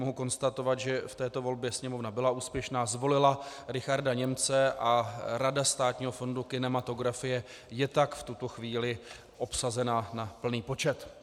Mohu konstatovat, že v této volbě Sněmovna byla úspěšná, zvolila Richarda Němce a Rada Státního fondu kinematografie je tak v tuto chvíli obsazená na plný počet.